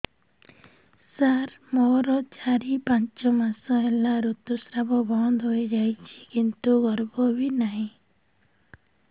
ସାର ମୋର ଚାରି ପାଞ୍ଚ ମାସ ହେଲା ଋତୁସ୍ରାବ ବନ୍ଦ ହେଇଯାଇଛି କିନ୍ତୁ ଗର୍ଭ ବି ନାହିଁ